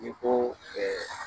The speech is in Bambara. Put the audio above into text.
I ko ɛɛ